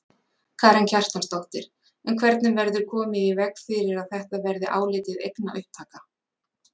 Karen Kjartansdóttir: En hvernig verður komið í veg fyrir að þetta verði álitið eignaupptaka?